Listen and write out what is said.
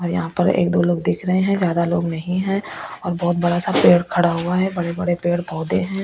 यहां पर एक दो लोग दिख रहे हैं ज्यादा लोग नहीं है और बहुत बड़ा सा पेड़ खड़ा हुआ है बड़े-बड़े पेड़ पौधे हैं।